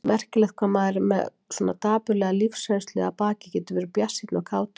Merkilegt hvað maður með svona dapurlega lífsreynslu að baki getur verið bjartsýnn og kátur.